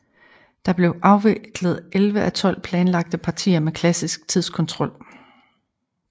Der blev afviklet 11 af 12 planlagte partier med klassisk tidskontrol